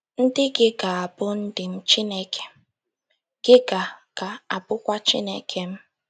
Ndị gị ga - abụ ndị m, Chineke gị ga - ga - abụkwa Chineke m. ”